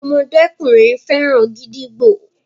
ọmọdékùnrin féràn gídígbò